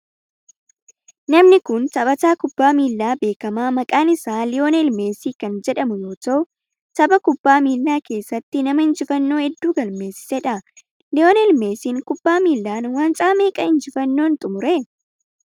Namni kun taphataa kubbaa miilaa beekamaa maqaan isaa liyoonel meesii kan jedhamuu yoo ta'u tapha kubbaa miilaa keessatti nama injifannoo heddu galmeessedha. Liyoonel meesiin kubbaa miilan waancaa meeqa injifannoon xumure?